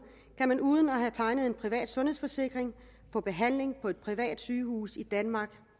kan man uden at have tegnet en privat sundhedsforsikring få behandling på et privat sygehus i danmark